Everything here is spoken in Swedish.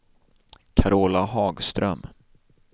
Carola Hagström